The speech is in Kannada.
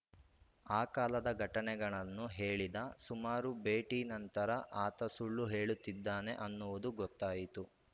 ಆ ಕಾಲದ ಘಟನೆಗಳನ್ನು ಹೇಳಿದ ಸುಮಾರು ಭೇಟಿ ನಂತರ ಆತ ಸುಳ್ಳು ಹೇಳುತ್ತಿದ್ದಾನೆ ಅನ್ನುವುದು ಗೊತ್ತಾಯಿತು